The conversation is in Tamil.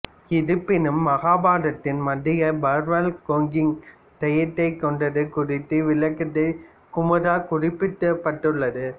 இருப்பினும் மகாபாரதத்தின் மத்திய பர்வாவில் கோகிங் தைத்யாவைக் கொன்றது குறித்த விளக்கத்தில் குமுரா குறிப்பிடப்பட்டுள்ளது